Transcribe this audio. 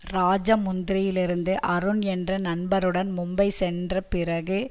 ராஜமுந்திரியிலிருந்து அருண் என்ற நண்பருடன் மும்பை சென்று பிறகு